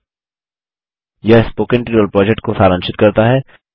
httpspoken tutorialorgWhat is a Spoken Tutorial यह spoken tutorial project को सारांशित करता है